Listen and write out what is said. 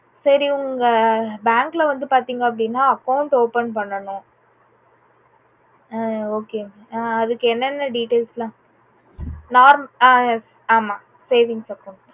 சரி உங்க bank ல வந்து பாத்தீங்க அப்புடின்னா account open பண்ணனும். ஆஹ் okay க ஆஹ் அதுக்கு என்னென்ன details எல்லாம் norm ஹம் ஹம் yes ஆமா savings account தான்